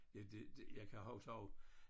Jeg det det jeg kan huske også